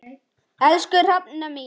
Elsku Hrefna mín.